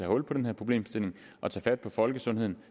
hul på den her problemstilling og tage fat på folkesundheden